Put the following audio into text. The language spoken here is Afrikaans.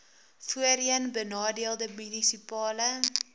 voorheen benadeelde munisipale